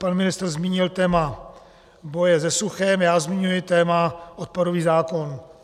Pan ministr zmínil téma boje se suchem, já zmiňuji téma odpadový zákon.